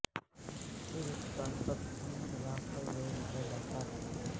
پھر stop piston خلاف پر زور دیا جاتا ہے